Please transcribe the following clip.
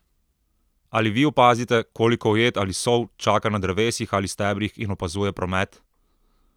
Ali vi opazite, koliko ujed ali sov čaka na drevesih ali stebrih in opazuje promet?